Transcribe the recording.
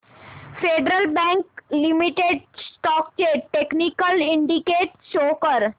federal bank limited stocks चे technical indicators show कर